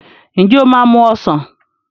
Ǹjẹ́ o máa mu ọsàn?